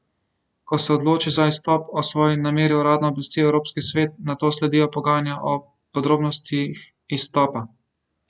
Ko se odloči za izstop, o svoji nameri uradno obvesti Evropski svet, nato sledijo pogajanja o podrobnostih izstopa.